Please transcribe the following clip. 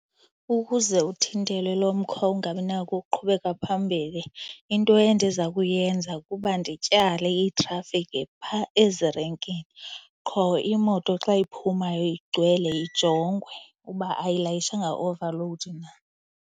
Ukuze uthintele lo mkhwa ungabi nako ukuqhubeka phambili into endiza kuyenza kuba ndityale iitrafikhi phaa ezirenkini. Qho imoto xa iphumayo igcwele ijongwe uba ayilayishanga overload na.